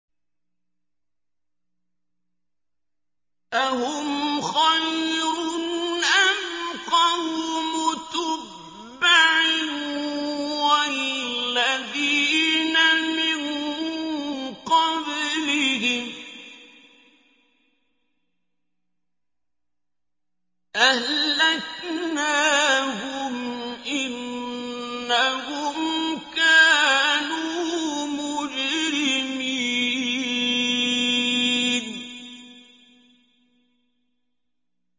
أَهُمْ خَيْرٌ أَمْ قَوْمُ تُبَّعٍ وَالَّذِينَ مِن قَبْلِهِمْ ۚ أَهْلَكْنَاهُمْ ۖ إِنَّهُمْ كَانُوا مُجْرِمِينَ